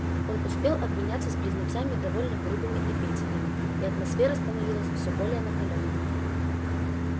он успел обменяться с близнецами довольно грубыми эпитетами и атмосфера становилась все более накалённой